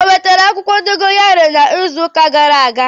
O wetara akwukwo dogayaro n'izu uka gara aga?